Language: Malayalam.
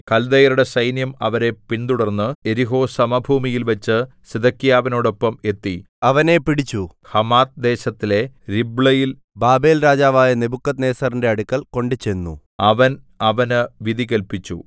കല്ദയരുടെ സൈന്യം അവരെ പിന്തുടർന്ന് യെരിഹോ സമഭൂമിയിൽവച്ച് സിദെക്കീയാവിനോടൊപ്പം എത്തി അവനെ പിടിച്ചു ഹമാത്ത് ദേശത്തിലെ രിബ്ളയിൽ ബാബേൽരാജാവായ നെബൂഖദ്നേസരിന്റെ അടുക്കൽ കൊണ്ടുചെന്നു അവൻ അവന് വിധി കല്പിച്ചു